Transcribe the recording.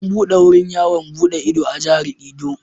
An buɗe wurin yawon buɗe ido a Jihar Edo.